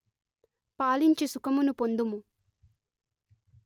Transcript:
పాలించి సుఖమును పొందుము